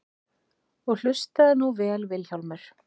Og hlustaðu nú vel Vilhjálmur.